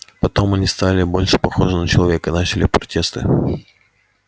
потом они стали больше похожи на человека и начали протесты